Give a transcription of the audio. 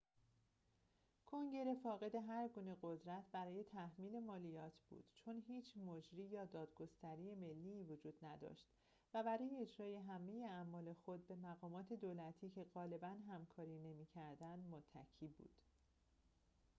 کنگره فاقد هرگونه قدرت برای تحمیل مالیات بود چون هیچ مجری یا دادگستری ملی‌ای وجود نداشت و برای اجرای همه اعمال خود به مقامات دولتی که غالباً همکاری نمی‌کردند متکی بود